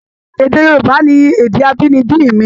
Èdè Yorùbá ni èdè abínibí mi.